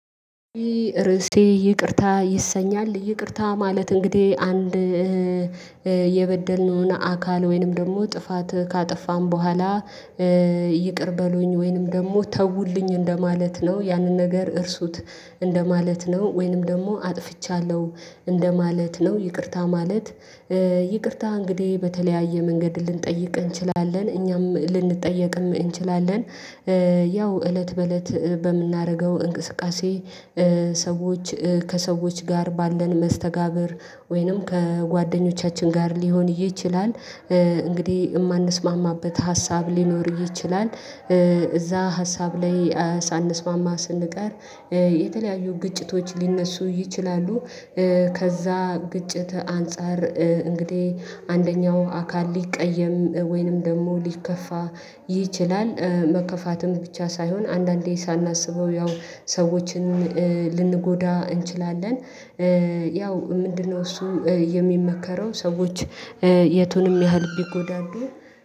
ርዕሴ ይቅርታ ይሰኛል ይቅርታ ማለት እንግዲህ አንድ የበደልነውን አካል ወይንም ደግሞ ጥፋት ካጠፋን በኋላ ይቅር በሉኝ ወይንም ደግሞ ተውልኝ እንደማለት ነው ያንን ነገር እርሱት እንደማለት ነው። ወይንም ደግሞ አጥፍቻለሁ እንደማለት ነው ይቅርታ ማለት ይቅርታ እንግዲህ በተለያየ መንገድ ልንጠይቅ እንችላለን እኛም ልንጠየቅም እንችላለን። ያው እለት በእለት በምናረገው እንቅስቃሴ ሰዎች ከሰዎች ጋር ባለን መስተጋብር ወይንም ከጓደኞቻችን ጋር ሊሆን ይችላል። እንግዲህ የማንስማማበት ሀሳብ ሊኖር ይችላል። እዛ ሀሳብ ላይ ሳንስማማ ስንቀር የተለያዩ ግጭቶች ሊነሱ ይችላሉ። ከዛ ግጭት አንፃር እንግዲህ አንደኛው አካል ሊቀየም ወይንም ደግሞ ሊከፋ ይችላል። መከፋትም ብቻ ሳይሆን አንዳንዴ ሳናስበው ያው ሰዎችን ልንጎዳ እንችላለን። ያው ምንድነው? እሱ የሚመከረው ሰዎች የቱንም ያህል ቢጎዳዱ